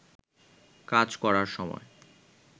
কাজ করার সময়